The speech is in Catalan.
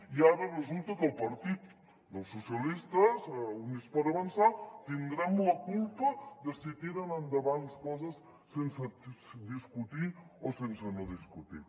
i ara resulta que el partit dels socialistes i units per avançar tindrem la culpa de si tiren endavant coses sense discutir o sense no discutir